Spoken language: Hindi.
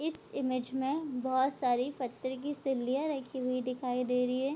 इस इमेज में बहोत सारी फत्थर की सिल्लियाँ रखी हुई दिखाई दे रही है।